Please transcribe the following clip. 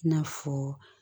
I n'a fɔ